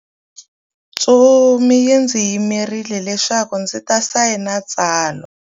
Ntsumi yi ndzi yimerile leswaku ndzi ta sayina tsalwa.